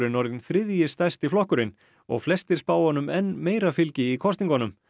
orðinn þriðji stærsti flokkurinn og flestir spá honum enn meira fylgi í kosningunum